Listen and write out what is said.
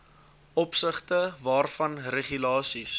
opsigte waarvan regulasies